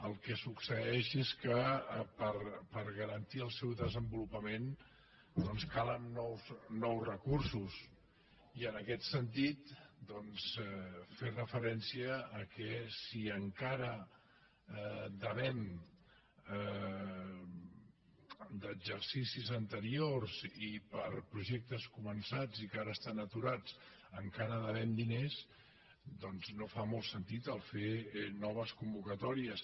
el que succeeix és que per garantir el seu desenvolupament doncs calen nous recursos i en aquest sentit fer referència al fet que si encara devem d’exercicis anteriors i per projectes començats i que ara estan aturats encara devem diners doncs no fa molt sentit fer noves convocatòries